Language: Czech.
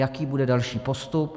Jaký bude další postup?